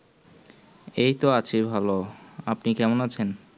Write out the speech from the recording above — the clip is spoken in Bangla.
এই তো আছি ভালো আপনি কেমন আছেন